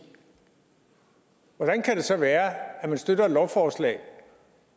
hvordan kan det så være at man støtter et lovforslag